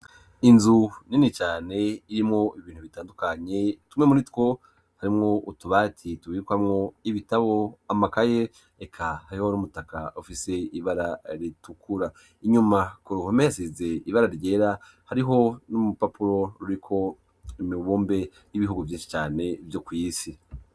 Inzu nini cane irimwo ibintu bitandukanye tumwe muri two harimwo utubati tubikwamwo y'ibitabo, amakaye eka hariho n'umutaka ufise ibara ritukura inyuma ku ruhome hasize ibara ryera hariho n'urupapuro ruriko imibumbe y'ibihugu vyinshi cane vyo kw'isi.